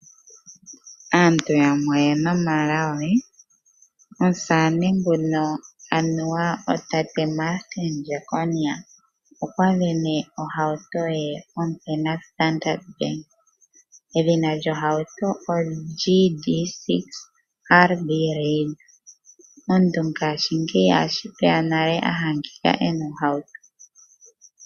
Aantu yamwe oye na omalago. Omusamane Martin Jackonia okwa sindana ohauto ye ompe naStandard Bank. Edhina lyohauto oGD-6 RB Raider. Tashi vulika a adhika e na ohauto.